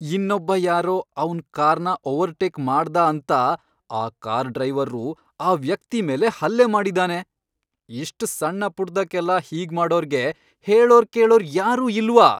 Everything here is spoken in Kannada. ಇನ್ನೊಬ್ಬ ಯಾರೋ ಅವ್ನ್ ಕಾರ್ನ ಓವರ್ಟೇಕ್ ಮಾಡ್ದ ಅಂತ ಆ ಕಾರ್ ಡ್ರೈವರ್ರು ಆ ವ್ಯಕ್ತಿ ಮೇಲೆ ಹಲ್ಲೆ ಮಾಡಿದಾನೆ. ಇಷ್ಟ್ ಸಣ್ಣಪುಟ್ದಕ್ಕೆಲ್ಲ ಹೀಗ್ಮಾಡೋರ್ಗೆ ಹೇಳೋರ್ ಕೇಳೋರ್ ಯಾರೂ ಇಲ್ವ!